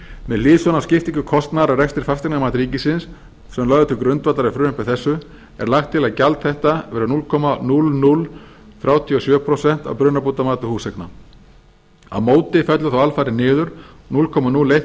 með hliðsjón af skiptingu kostnaðar af rekstri fasteignamats ríkisins sem lögð er til grundvallar í frumvarpi þessu er lagt til að gjald þetta verði núll komma núll núll þrjú sjö prósent af brunabótamati fasteigna á móti fellur þá alfarið niður núll komma núll eitt